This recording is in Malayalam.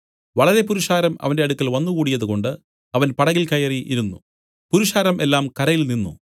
വളരെ പുരുഷാരം അവന്റെ അടുക്കൽ വന്നുകൂടിയതുകൊണ്ട് അവൻ പടകിൽ കയറി ഇരുന്നു പുരുഷാരം എല്ലാം കരയിൽ നിന്നു